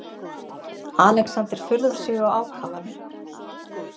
Alexander furðar sig á ákafanum.